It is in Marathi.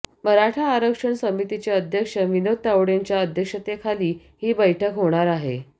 मराठा आरक्षण समितीचे अध्यक्ष विनोद तावडेंच्या अध्यक्षतेखाली ही बैठक होणार आहे